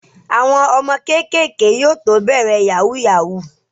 Àwọn ọmọ kéékèèké yóò tó bẹ̀rẹ̀ Yahoo yahoo